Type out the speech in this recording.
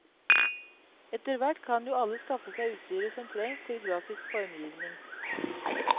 Etterhvert kan jo alle skaffe seg utstyret som trenges til grafisk formgivning.